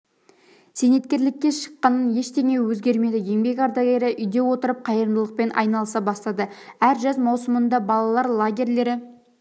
зейнеткерлікке шыққанмен ештене өзгермеді еңбек ардагері үйде отырып қайырымдылықпен айналыса бастады әр жаз маусымында балалар лагерлері